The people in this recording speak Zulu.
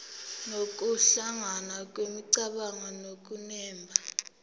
nokuhlangana kwemicabango nokunemba